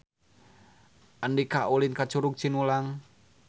Andika ulin ka Curug Cinulang